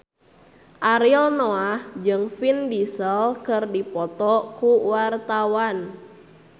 Ariel Noah jeung Vin Diesel keur dipoto ku wartawan